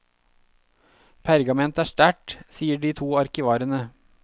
Pergament er sterkt, sier de to arkivarene.